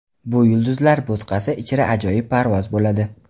Bu yulduzlar bo‘tqasi ichra ajoyib parvoz bo‘ladi”.